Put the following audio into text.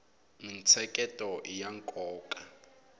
mintsheketo iya nkoka